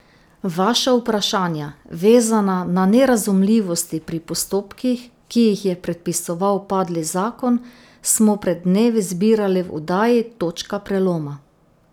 Vaša vprašanja, vezana na nerazumljivosti pri postopkih, ki jih je predpisoval padli zakon, smo pred dnevi zbirali v oddaji Točka preloma.